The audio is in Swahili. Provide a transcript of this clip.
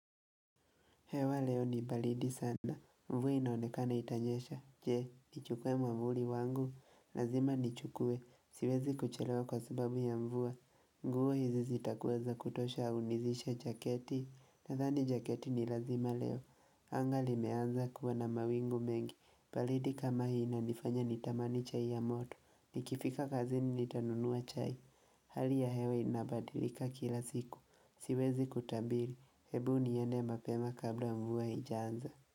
Hewa leo ni baridi sana, mvua inaonekana itanyesha, je, nichukuwe mwavuli wangu, lazima niichukue, siwezi kuchelewa kwa sababu ya mvua, nguo hizi zitakuweza kutosha nihusishe jaketi, nadhani jaketi ni lazima leo, anga limeanza kuwa na mawingu mengi, baridi kama hii inanifanya nitamani chai ya moto, nikifika kazini nitanunua chai, hali ya hewa inabadilika kila siku, siwezi kutabiri, Hebu niende mapema kabla mvua haijanza.